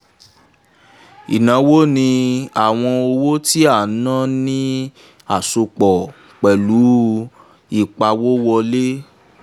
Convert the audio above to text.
ìnáwó ni àwọn owó tí a ná ní àsopọ̀ pẹ̀lú ìpawówọlé.